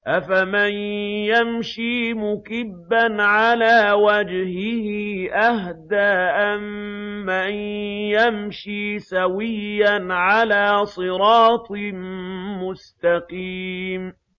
أَفَمَن يَمْشِي مُكِبًّا عَلَىٰ وَجْهِهِ أَهْدَىٰ أَمَّن يَمْشِي سَوِيًّا عَلَىٰ صِرَاطٍ مُّسْتَقِيمٍ